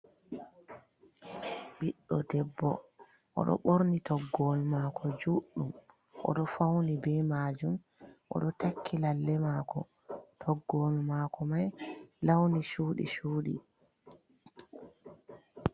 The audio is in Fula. ɓiɗɗo debbo oɗo ɓorni toggowol mako juɗɗum, Oɗo fauni be majum, oɗo takki lalle mako ,toggowol mako mai lawni cuɗi cuɗi.